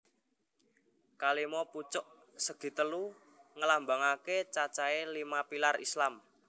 Kalima pucuk segitelu ngelambangake cacahé lima pilar Islam